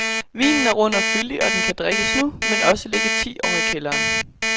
Vinen er rund og fyldig, og den kan drikkes nu, men også ligge ti år i kælderen.